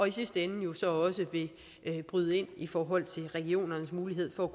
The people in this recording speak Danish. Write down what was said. i sidste ende jo så også bryde ind i forhold til regionernes mulighed for at